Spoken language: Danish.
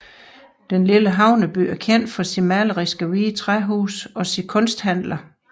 Den lille havneby er kendt for sine maleriske hvide træhuse og sine kunsthandler